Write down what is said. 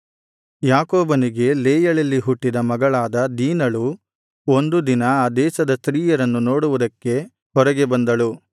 ಯಾಕೋಬನಿಗೆ ಲೇಯಳಲ್ಲಿ ಹುಟ್ಟಿದ ಮಗಳಾದ ದೀನಳು ಒಂದು ದಿನ ಆ ದೇಶದ ಸ್ತ್ರೀಯರನ್ನು ನೋಡುವುದಕ್ಕೆ ಹೊರಗೆ ಬಂದಳು